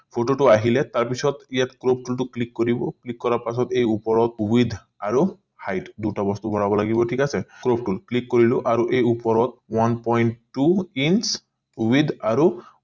photo টো আহিলে তাৰ পিছত ইয়াত crop যোনটো ত click কৰিব click কৰা পাছত এই ওপৰৰ with আৰু hide দুইটা বস্তু ভৰাব লাগিব ঠিক আছে click কৰিলো আৰু এই ওপৰত one point two in with আৰু